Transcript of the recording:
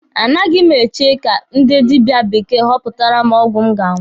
A naghị m eche ka ndị dibia bekee họpụtara m ọgwụ m ga-aṅụ.